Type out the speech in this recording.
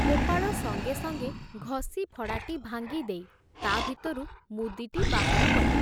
ଗୋପାଳ ସଙ୍ଗେ ସଙ୍ଗେ ଘଷି ଫଡ଼ାଟି ଭାଙ୍ଗି ଦେଇ ତା' ଭିତରୁ ମୁଦିଟି ବାହାର କଲେ।